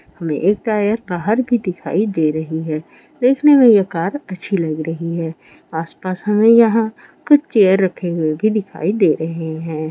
हमें एक टायर बहार भी दिखाई दे रही है देखने में ये कार अच्छी लग रही है आस पास हमे यहाँ कुछ चेयर लगी हुई भी दिखाई दे रही है।